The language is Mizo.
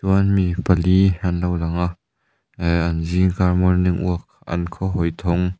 chuan mi pali an lo lang a eh an zingkar morning walk an khawhawi thawng --